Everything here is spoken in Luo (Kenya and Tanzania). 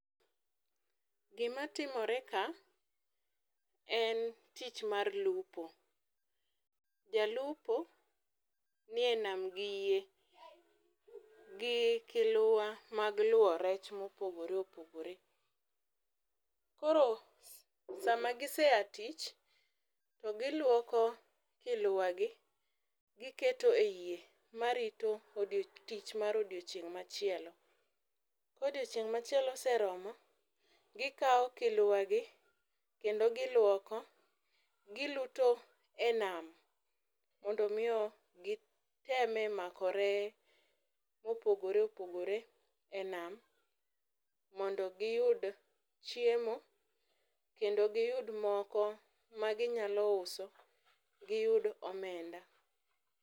Gima timore ka, en tich mar lupo. Jalupo nie nam gi yie, gi kiluwa mag luwo rech mopogore opogore. Koro sama gisea tich, to giluoko kiluwa gi, giketo e yie ma rito tich mar odiochieng' machielo. Kodiochieng' machielo oseromo, gikawo kiluwa gi kendo giluoko, giluto e nam, mondo omiyo giteme mako reye mooogore opogore e nam, mondo giyud chiemo kendo giyud moko ma ginyalo uso giyud omemda.